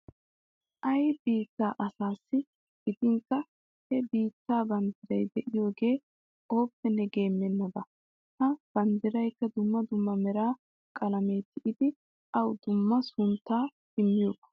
Ay biittaa asaassi gidinkka he biittaa banddiray de'iyogee ooppenne geemmennaba. Ha banddiraykka dumma dumma mera qalamiyan tiyidi awu dumma sunttaa immiyoba.